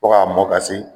Fo k'a mɔn ka se